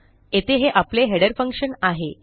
येथे हे आपले हेडर फंक्शन आहे